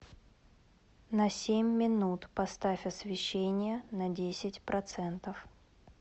на семь минут поставь освещение на десять процентов